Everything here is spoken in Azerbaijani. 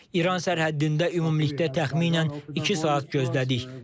İran sərhəddində ümumilikdə təxminən iki saat gözlədik.